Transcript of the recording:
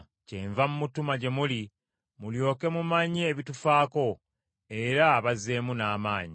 Kyenva mmutuma gye muli mulyoke mumanye ebitufaako, era abazzeemu n’amaanyi,